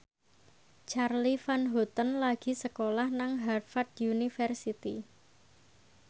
Charly Van Houten lagi sekolah nang Harvard university